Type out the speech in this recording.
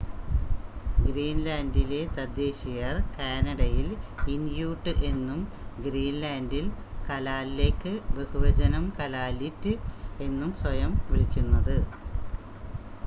ഗ്രീൻ‌ലാൻ‌ഡിലെ തദ്ദേശീയർ‌ കാനഡയിൽ ഇൻ‌യൂട്ട് എന്നും ഗ്രീൻ‌ലാൻ‌ഡിൽ കലാലെക്ക് ബഹുവചനം കലാലിറ്റ് എന്നും സ്വയം വിളിക്കുന്നത്